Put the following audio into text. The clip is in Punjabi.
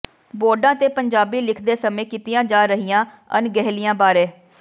ਬੋਰਡਾਂ ਤੇ ਪੰਜਾਬੀ ਲਿਖਦੇ ਸਮੇਂ ਕੀਤੀਆਂ ਜਾ ਰਹੀਆਂ ਅਣਗਹਿਲੀਆਂ ਬਾਰੇ